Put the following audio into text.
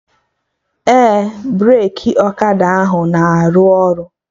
Ee, breki ọkada ahụ na-aru ọrụ